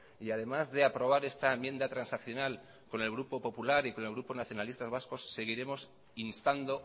y además de aprobar esta enmienda transaccional con el grupo popular y con el grupo nacionalistas vascos seguiremos instando